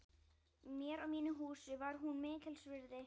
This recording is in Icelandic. Mér og mínu húsi var hún mikils virði.